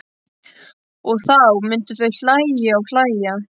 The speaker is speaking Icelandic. Og þá myndu þau hlæja og hlæja.